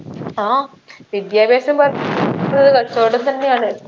ആ വിദ്യാഭ്യാസം കച്ചോടം തന്നെയാണ്